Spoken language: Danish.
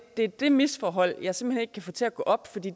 er det misforhold jeg simpelt hen ikke kan få til at gå op for det